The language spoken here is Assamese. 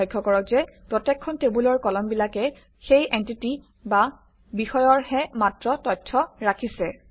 লক্ষ্য কৰক যে প্ৰত্যেকখন টেবুলৰ কলমবিলাকে সেই এনটিটি বা বিষয়ৰহে মাত্ৰ তথ্য ৰাখিছে